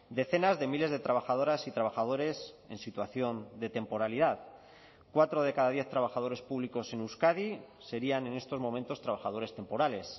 decenas de miles de trabajadoras y trabajadores en situación de temporalidad cuatro de cada diez trabajadores públicos en euskadi serían en estos momentos trabajadores temporales